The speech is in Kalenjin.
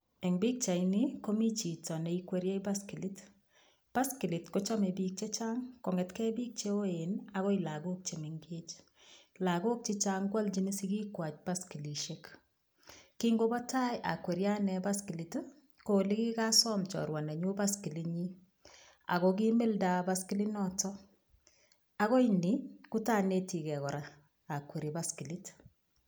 Eng' pikchaini komi chito neikweriei baskilit baskilit kochomei biik chechang' kong'etkei biik cheoen akoi lakok chemengech lakok chichang' kwolchini sikikwach baskilishek kingobo tai akweriei ane baskilit ko ole kikasom chorwa nenyu baskilinyi ako kimilda baskilinoto akoi ni kotanetigei kora akweri baskilit